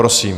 Prosím.